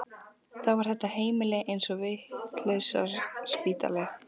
Þá er þetta heimili eins og vitlausraspítali.